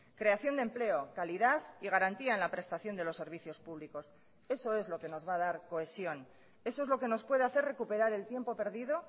creación de empleo calidad y garantía en la prestación de los servicios públicos eso es lo que nos va a dar cohesión eso es lo que nos puede hacer recuperar el tiempo perdido